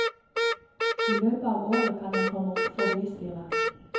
I løpet av året kan den komme opp for bystyret.